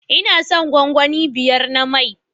Ina son gwangwani biyar na mai